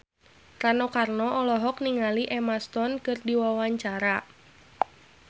Rano Karno olohok ningali Emma Stone keur diwawancara